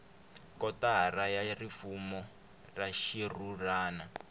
kotara ya rifumo ra xixurhana